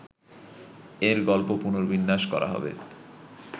এর গল্প পুনর্বিন্যাস করা হবে